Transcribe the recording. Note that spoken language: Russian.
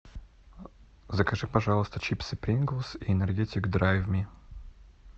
закажи пожалуйста чипсы прингл и энергетик драйв ми